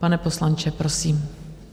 Pane poslanče, prosím.